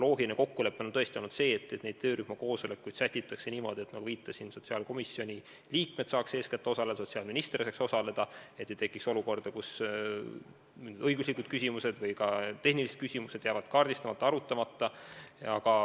Loogiline kokkulepe on tõesti olnud see, et töörühma koosolekuid sätitakse selle järgi, nagu viitasin, et sotsiaalkomisjoni liikmed saaksid eeskätt osaleda, et sotsiaalminister saaks osaleda – et ei tekiks olukorda, kus õiguslikud või tehnilised küsimused jäävad kaardistamata ja arutamata.